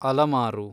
ಅಲಮಾರು